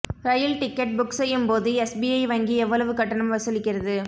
ரயில் ticket book செய்யும் போது SBI வங்கி எவ்வளவு கட்டணம் வசூலிக்கிறது